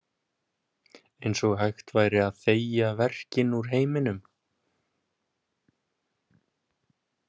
Eins og hægt væri að þegja verkinn úr heiminum.